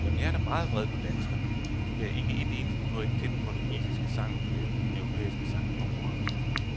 Jamen jeg er da meget vred på danskerne, for de gav ikke et eneste point til den portugisiske sang forleden i den europæiske sangkonkurrence.